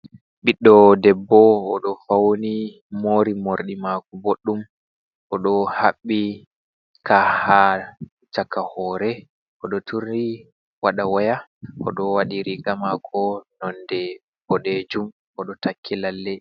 Biddo debbo odo fauni mori morɗi mako boɗdum odo Haɓɓi ka ha chaka hore odo turi waɗa waya odo waɗi riga mako nonɗe bodejum odo takki lalle.